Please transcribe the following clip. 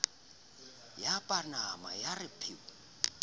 ya panama ya re pheu